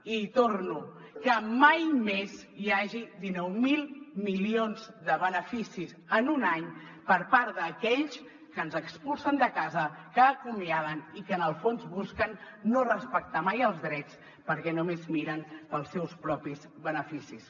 i hi torno que mai més hi hagi dinou mil milions de beneficis en un any per part d’aquells que ens expulsen de casa que acomiaden i que en el fons busquen no respectar mai els drets perquè només miren pels seus propis beneficis